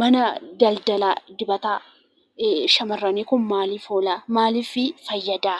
Manni daldaala dibata Shamarranii kuni maalif oolaa? Maalif fayyada